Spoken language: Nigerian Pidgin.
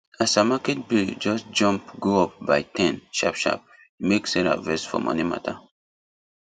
as her market bill just jump go up by ten sharpsharp e make sarah vex for money matter